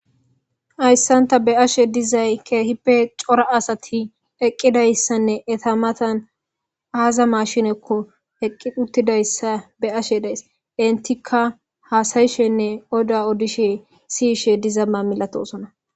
Hayssan tha be7ashe dizay keehippe cora asathi eqqidayssanne etha mathan aaza mashinekko eqqi uththidayssa be7ashe days; enthikka haasayishenne oduwa odishe siyishe dizama milatoosona.